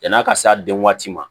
Yan'a ka se a den waati ma